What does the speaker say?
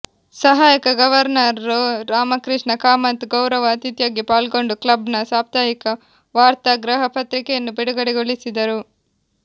ಸಹಾಯಕ ಗವರ್ನರ್ ರೋ ರಾಮಕೃಷ್ಣ ಕಾಮತ್ ಗೌರವ ಅತಿಥಿಯಾಗಿ ಪಾಲ್ಗೊಂಡು ಕ್ಲಬ್ ನ ಸಾಪ್ತಾಹಿಕ ವಾರ್ತಾ ಗೃಹ ಪತ್ರಿಕೆಯನ್ನು ಬಿಡುಗಡೆಗೊಳಿಸಿದರು